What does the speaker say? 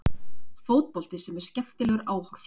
Fótbolti sem er stórskemmtilegur áhorfs.